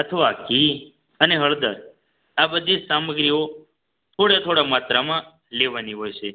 અથવા ઘી અને હળદર આ બધી સામગ્રી થોડા માત્રામાં લેવાની હોય છે